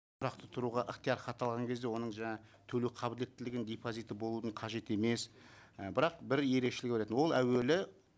тұрақты тұруға ықтиярхат алған кезде оның төлеу қабілеттілігін депозиті болудың қажет емес і бірақ бір ерекшелігі бар екен ол әуелі